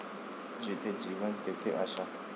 जिथे जीवन, तिथे आशा.